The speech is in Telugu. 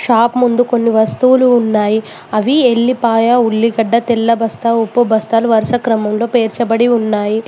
షాప్ ముందు కొన్ని వస్తువులు ఉన్నాయి అవి ఎల్లిపాయ ఉల్లిగడ్డ తెల్ల బస్తా ఉప్పు బస్తాలు వరుస క్రమంలో పేర్చబడి ఉన్నాయి.